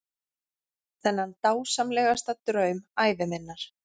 Þennan dásamlegasta draum ævi minnar.